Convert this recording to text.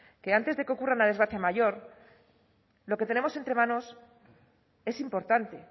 que antes de que ocurra una desgracia mayor lo que tenemos entre manos es importante